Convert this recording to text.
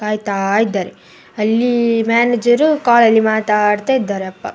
ಕಾಯ್ತಾ ಇದ್ದಾರೆ. ಅಲ್ಲಿ ಮ್ಯಾನೇಜರು ಕಾಲ್ ಅಲ್ಲಿ ಮಾತಾಡ್ತಾ ಇದ್ದಾರೆ ಅಪ್ಪ --